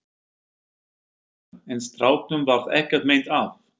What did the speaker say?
Helga: En stráknum varð ekkert meint af?